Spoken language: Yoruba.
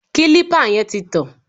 Kílípà yẹn ti tàn